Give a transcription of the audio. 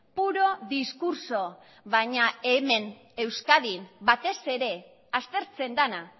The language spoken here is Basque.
puro discurso baina hemen euskadin batez ere aztertzen dena